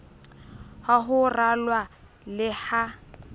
ha ho ralwa le ha